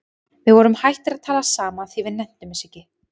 Við vorum hættir að tala saman því við nenntum þessu ekki.